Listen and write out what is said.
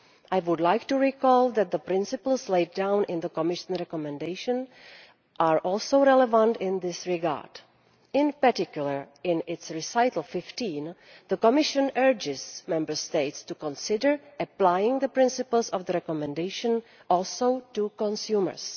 I would like to recall that the principles laid down in the Commission recommendation are also relevant in this regard. In particular in its recital 15, the Commission urges Member States to consider applying the principles of the recommendation also to consumers.